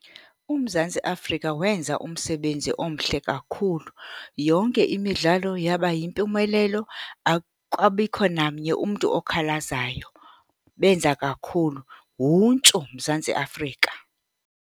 UMzantsi Afrika wenza umsebenzi omhle kakhulu. Yonke imidlalo yaba yimpumelelo akwabikho namnye umntu okhalazayo, benza kakhulu. Wuntshu, Mzantsi Afrika!